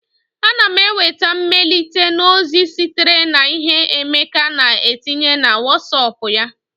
Ana m enweta mmelite na ozi sitere na ihe Emeka na etinye na Wosop ya